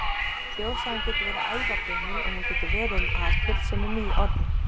Þjóðsagan getur verið ævagömul, og hún getur verið um atburð, sem er nýorðinn.